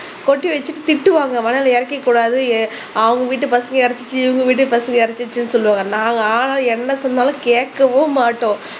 கொட்டி வச்சுட்டு திட்டுவாங்க மணலை இறக்கிக் கூடாது எ அவங்க வீட்டு பசங்க இறைச்சி இவங்க வீட்டு பசங்க இறைச்சி சொல்லுவாங்க நாங்க ஆனா என்ன சொன்னாலும் கேக்கவும் மாட்டோம்